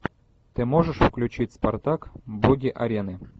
ты можешь включить спартак боги арены